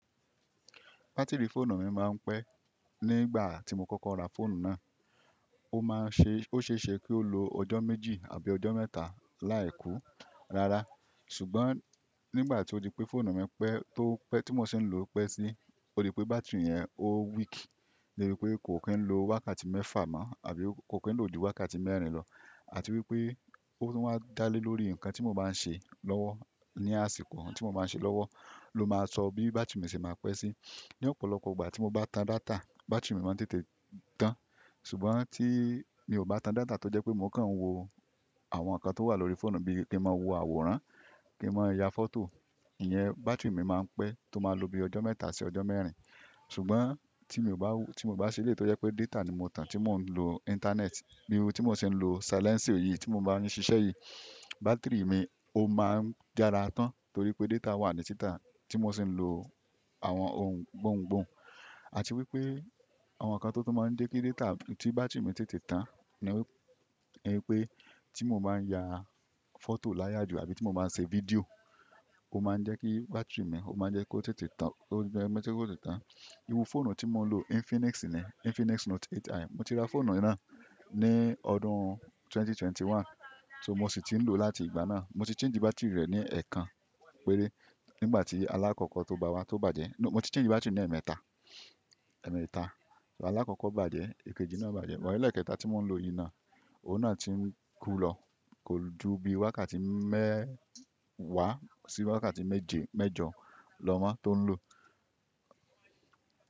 Batiri fóònù mi máa ń pẹ́ nígbà tí mo kókó ra fóònù náà. Ó máa ń ṣe, ó ṣeṣe kí ó lo ọjọ́ méjì àbí ọjọ́ mẹ́ta láì kú rara. Ṣùgbọ́n nígbà tí ó di pé fóònù mi pẹ́, tó pẹ́ tí mo ṣe ń lò pẹ́ sí, ó di pé bátírì yẹn ó weak. Dẹ bí pé kò ki ń lo wákàtí mẹ́fà mọ́ àbí kò ki n lo ju wákàtí mẹ́rin lọ. Àti wípé ó máa ń dá lé lórí ǹkan tí mo bá ń ṣe lọ́wọ́, ní àsìkò tí mo bá ń ṣe lọ́wọ́ ló máa sọ bí bátírì mi ṣe máa pẹ́ sí. Ni ọ̀pọ̀lọpọ̀ ìgbà tí mo bá tan data, bátírì mi máa ń tètè tán. Ṣùgbọ́n tí mi ò bá tan data tó jẹ pé mo kàn ń wo àwọn ǹkan tó wà lórí fóònù bíi kí n máa wo àwòrán, kí n máa ya fọ́tò, ìyẹn bátírì mi máa ń pẹ́ tó máa lò bí ọjọ́ mẹ́ta sí ọjọ́ mẹ́rin. Ṣùgbọ́n tí mo bá wo-- tí mo bá ṣẹ́lẹ́ tó jẹ pé data ni mo tan tí mò ń lo Íńtánẹ́ẹ̀tì, bí tí mo ṣe ń lo sílẹ́ǹcio yì, tí mo bá yin ṣíṣe yìí, bátírì mi ó máa ń yara tán torí pé data wà ní títàn tí mo ṣi ń lo àwọn ohun gbóuńgbòuń. Àti wípé àwọn ǹkan tó tun máa ń jẹ́ kí data tí bátírì mi tètè tán ni wípé tí mo bá ń ya fọ́tò láyà jù àbí tí mo bá ń ṣe fídíò, ó máa ń jẹ́ kí bátírì mi, ó máa ń jẹ́ kó tètè tán, kó jẹ́ kó tètè tán. Iru fóònù tí mo ń lo Infinix nì, Infinix Note 8i. Mo ti ra fóònù náà ní ọdún 2021, so mo sì ti ń lò ó láti ìgbà náà. Mo ti change bátírì rẹ̀ ní ẹẹkan péré nígbà tí alákọ̀ọ́kọ́ tó bá wá, tó bàjẹ́. No, mo ti change bátírì ní ẹmeẹ́ta, ẹ́meẹ́ta. So alákọ̀ọ́kọ́ bàjẹ́, èkejì náà bàjẹ́, ẹ̀kẹta tí mò ń lo yìí náà, òun náà ti ń kú lọ. Kò ju bí wákàtí mẹ́wàá sí wákàtí méje mẹ́jọ lọ mọ́ tó ń lò.